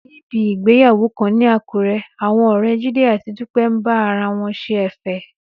Níbi ìgbéyàwó kan ní Àkúré, àwọn ọ̀rẹ́ Jídé àti Dúpẹ́ ń bá ara wọn ṣe ẹ̀fẹ̀.